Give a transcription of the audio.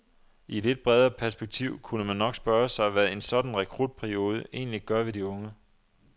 I et lidt bredere perspektiv kunne man nok spørge sig, hvad en sådan rekrutperiode egentlig gør ved de unge.